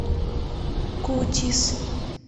кутис